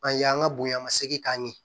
An ye an ka bonya segin k'a ɲɛ